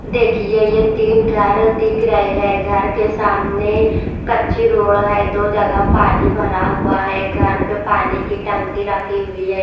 देखिए यह तीन घर दिख रही है घर के सामने कच्ची रोड है दो जगह पानी भरा हुआ है घर पे पानी की टंकी रखी हुई है।